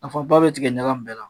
Nafaba be tigɛ ɲaga in bɛɛ la